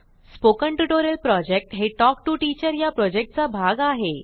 spoken tutorial project हे talk to teacher या प्रॉजेक्टचा भाग आहे